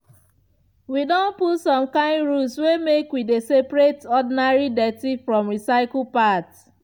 wi don put some kind rules say make we dey separate ordinary dirty from recycle part